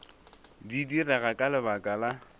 di direga ka lebaka la